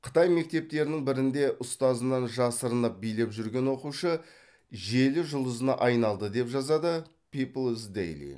қытай мектептерінің бірінде ұстазынан жасырынып билеп жүрген оқушы желі жұлдызына айналды деп жазады пиплз дэйли